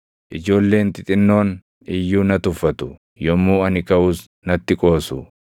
Ijoolleen xixinnoon iyyuu na tuffatu; yommuu ani kaʼus natti qoosu.